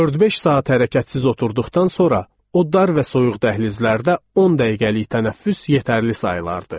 Dörd-beş saat hərəkətsiz oturduqdan sonra, o dar və soyuq dəhlizlərdə on dəqiqəlik tənəffüs yetərli sayılırdı.